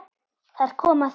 Þar kom að því.